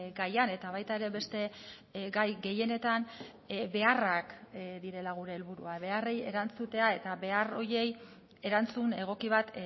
gaian eta baita ere beste gai gehienetan beharrak direla gure helburua beharrei erantzutea eta behar horiei erantzun egoki bat